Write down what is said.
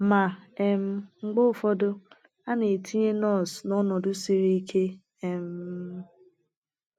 Ma, um mgbe ụfọdụ a na - etinye nọọsụ n’ọnọdụ siri ike um.